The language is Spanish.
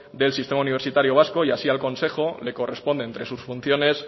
del sistema universitario vasco y así al consejo le corresponde entre sus funciones